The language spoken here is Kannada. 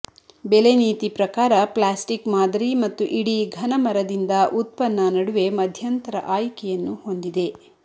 ಬೆಲೆ ನೀತಿ ಪ್ರಕಾರ ಪ್ಲಾಸ್ಟಿಕ್ ಮಾದರಿ ಮತ್ತು ಇಡೀ ಘನ ಮರದಿಂದ ಉತ್ಪನ್ನ ನಡುವೆ ಮಧ್ಯಂತರ ಆಯ್ಕೆಯನ್ನು ಹೊಂದಿದೆ